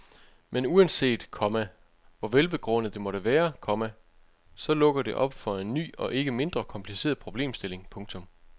Men uanset, komma hvor velbegrundet det måtte være, komma så lukker det op for en ny og ikke mindre kompliceret problemstilling. punktum